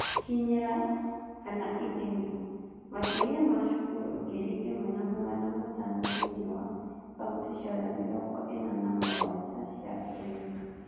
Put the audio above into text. Gũkinyĩra / ithimi: Makĩria ma cukuru ngiri ĩmwe na magana matano thĩinĩ wa kaunti ciothe mĩrongo ĩna na mũgwanja cia Kenya.